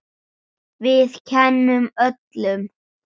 Við kennum öllum.